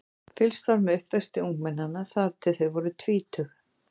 Fylgst var með uppvexti ungmennanna þangað til þau voru tvítug.